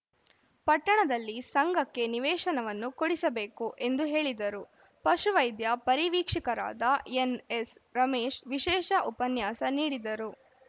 ಪಟ್ಟಣದಲ್ಲಿ ಸಂಘಕ್ಕೆ ನಿವೇಶನವನ್ನು ಕೊಡಿಸಿಬೇಕು ಎಂದು ಹೇಳಿದರು ಪಶುವೈದ್ಯ ಪರಿವೀಕ್ಷಕರಾದ ಎನ್‌ಎಸ್‌ ರಮೇಶ್‌ ವಿಶೇಷ ಉಪನ್ಯಾಸ ನೀಡಿದರು